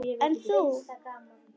En þú?